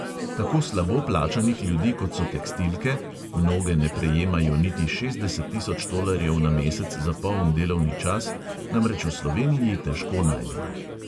Tako slabo plačanih ljudi, kot so tekstilke – mnoge ne prejemajo niti šestdeset tisoč tolarjev na mesec za poln delovni čas – namreč v sloveniji težko najdemo.